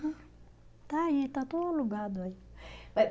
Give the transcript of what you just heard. Está aí, está tudo alugado aí. Eh